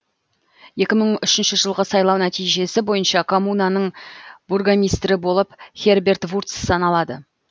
екі мың үшінші жылғы сайлау нәтижесі бойынша коммунаның бургомистрі болып херберт вурц саналады